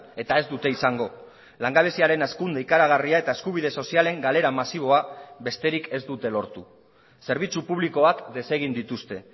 eta ez dute izango langabeziaren hazkunde ikaragarria eta eskubide sozialen galera masiboa besterik ez dute lortu zerbitzu publikoak desegin dituzte